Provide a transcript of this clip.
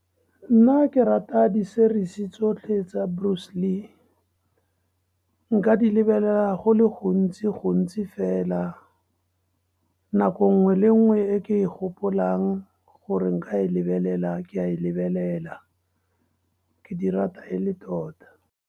Nna ke rata di-series-e tsotlhe tsa Bruce Lee, nka di lebelela go le gontsi-gontsi fela. Nako nngwe le nngwe e ke e gopolang gore nka e lebelela, ke a lebelela, ke di rata e le tota.